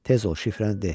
Tez ol şifrəni de.